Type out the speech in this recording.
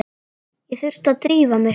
Ég þurfti að drífa mig.